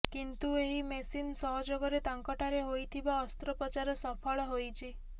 କିନ୍ତୁ ଏହି ମେସିନ୍ ସହଯୋଗରେ ତାଙ୍କଠାରେ ହୋଇଥିବା ଅସ୍ତ୍ରୋପଚାର ସଫଳ ହୋଇଛି